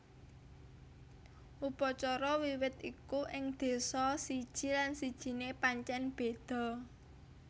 Upacara Wiwit iku ing désa siji lan sijiné pancèn béda